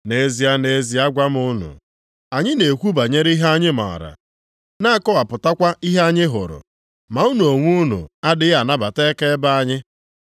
Nʼezie, nʼezie agwa m unu. Anyị na-ekwu banyere ihe anyị maara, na-akọwapụtakwa ihe anyị hụrụ, ma unu onwe unu adịghị anabata akaebe anyị.